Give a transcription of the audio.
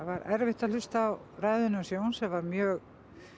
var erfitt að hlusta á ræðuna hans Jóns sem var mjög